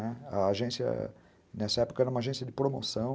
A agência, nessa época, era uma agência de promoção.